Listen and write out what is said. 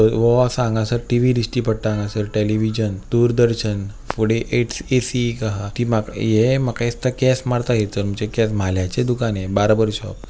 वो आसा हांगासर टी_वी दिश्टी पडता हांगासर टेलीवीजन दूरदर्शन फुडे इट एक ए_सी एक आहा ती माका ये माका दिस्ता केस मारता थयसर म्हणजे म्हाल्याचे दुकान हे बार्बर शॉप .